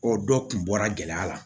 O dɔ kun bɔra gɛlɛya la